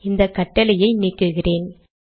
இந்த கட்டளைகளை நீக்குகிறேன்